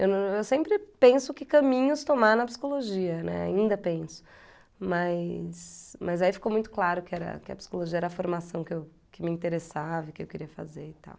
Eu sempre penso que caminhos tomar na psicologia, né, ainda penso, mas... mas aí ficou muito claro que era que é a psicologia era a formação que me interessava, e que eu queria fazer e tal.